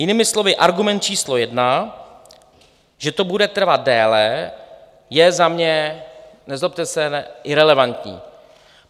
Jinými slovy argument číslo jedna, že to bude trvat déle, je za mě, nezlobte se, relevantní.